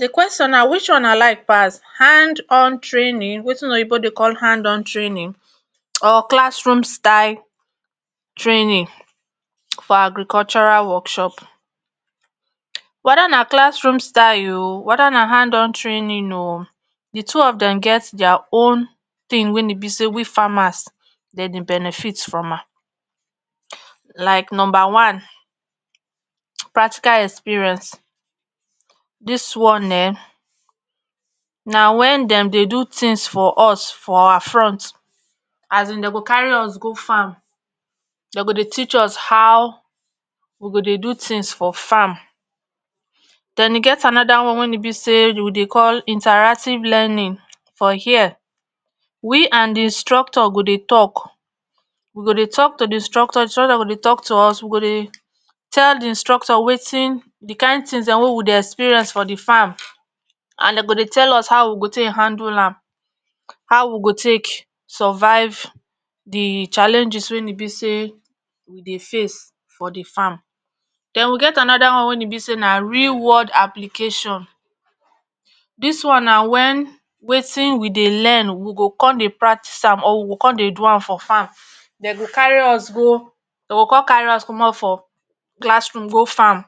di qwestion na wich one i like pass hand on training wetin oyibo de call hand on training or class room style training for agricultural workshop wheda na class room styl o weda na hand on training o di two of dem get dia own tin win e be say wee famers dem benefit from am like numba one patical experience dis one um na wen dem dey do tins for us for our front as in den go carry us go farm den go dey teah us how we go dey do tins for farm den e get anoda one wey be say we dey call interative learning for here we and d instructor go dey talk we go dey talk to d instructor d instructor go dey talk to us we go dey tell d instructor watin d kind tins den wey we dey expereience for d farm and den go dey tell us how we go take handle am how we go take survive d challenges wey e be say we dey face for d farm. den e get anoda one wey e be say na real world application dis one na wen watin we dey learn we go con dey practice an or we go con dey do am for farm. den go carry us go den go con carry us comot for classroom go farm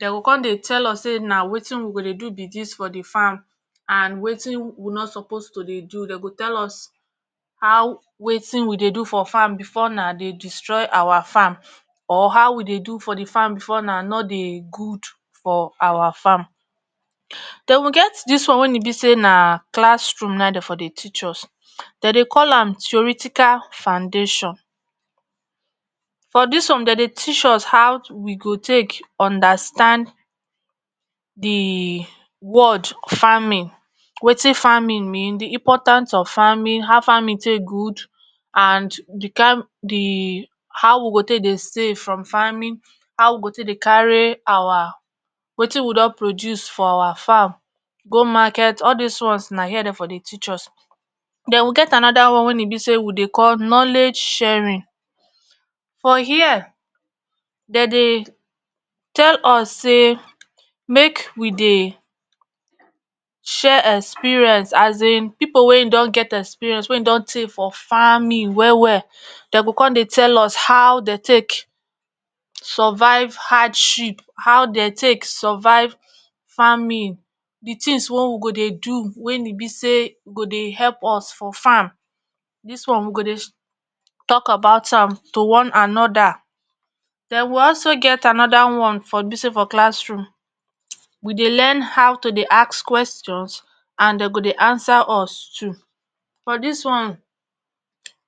dem go con dey tell us say na watin we go dey do be dis for the farm and watin we no suppose to dey do, den go tell us how watin we dey do for farm bfor na dey destroy our farm or how we dey do for d farm bfor na no dey good for our farm. den we get dis one wey e be say na classroom na den for dey teach us, den dey call am theoritical foundaion for dis one dem dey teach us how we go take understand d word farming watin farming mean, d impotant of farming, how farming take good and d kind d how wu go take dey save frrom farming how wu go take dey carry our watin wu don produce for our farm go market all dis ones na for here den dey teach us. den wu get anoda one wey e be say wu dey call knowledge sharing for here den dey tell us say make we dey share experience as in pipo wey don get experience wey don tey for farming well well den go con dey tell us how den take survive hardship how den take survive farming, d tins we wu go dey do wey go help us for farm dis one wu go dey talk about am to one anoda den wu also get anoda one for be say for classroom wu dey learn how to ask qwestons and den go dey answer us too for dis one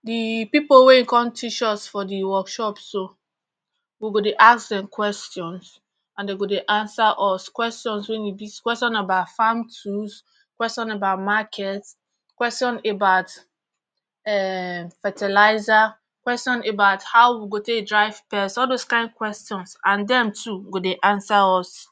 d pipo wey con teach us for d workshop so we go dey ask them qwestons and den go dey answer us too. for dis one d pipol wey con teach us for d workshop so we go dey ask dem qwestons and den go dey answer us qwestons wey e be say qwestons about farm tools qwestons about market qweston about um fertilzer qweston about how wu go take drive pest all dose kins qwestons and dem too go dey answer us